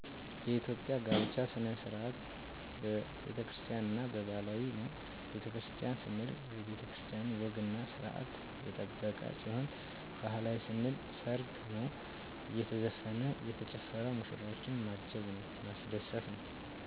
የኢትዮጵያ የጋብቻ ስርዓት በቤተክርስቲያን እና በባህላዊ ነው በቤተክርስቲያን ስንል የቤተክርስቲያን ወግና ስርአት የጠበቀ ሲሆን ባህላዊ ስንል ሰርግ ነው አየተዘፈነ እየተጨፈረ ሙሽራዎችን ማጀብ ነው ማስደሰት ነው